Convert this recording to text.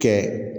Kɛ